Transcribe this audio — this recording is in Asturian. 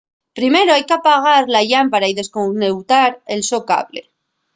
primero hai qu'apagar la llámpara o desconeutar el so cable